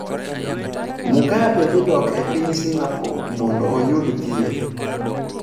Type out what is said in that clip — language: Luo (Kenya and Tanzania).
Mugabe dhi dok e piny Singapore mondo oyud thieth